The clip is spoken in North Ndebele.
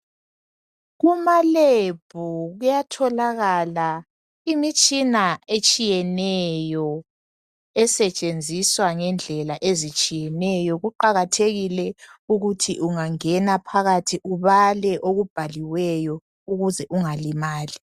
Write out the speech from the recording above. Kumalebhu kuyatholakala imitshina etshiyeneyo, esetshenziswa ngendlela ezitshiyeneyo, kuqakathekile ukuthi ungangena phakathi ubale okubhaliweyo ukuze ungalimali.